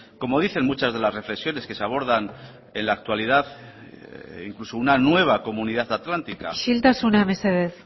como dicen muchas de las reflexiones que se abordan en la actualidad e incluso una nueva comunidad atlántica isiltasuna mesedez